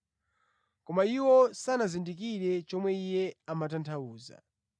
Koma iwo sanazindikire chomwe Iye amatanthauza.